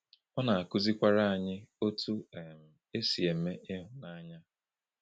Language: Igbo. Ọ na-akụzikwara anyị otú um e si eme ịhụnanya.